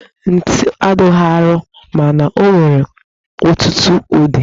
Ntu adịghị arọ mana o nwere ọtụtụ ụdị